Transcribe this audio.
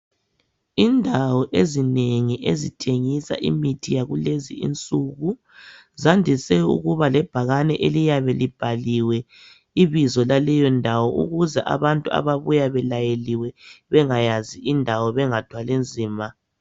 Indawo ezinengi ezithengisa imithi yakulezi insuku zandise ukuba lebhakani eliyabe libhaliwe ibizo laleyo ndawo ukuze abantu ababuya belayeliwe bengayazi indawo bengathwali nzima.